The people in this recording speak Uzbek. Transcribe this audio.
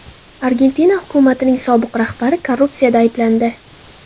Argentina hukumatining sobiq rahbari korrupsiyada ayblandi.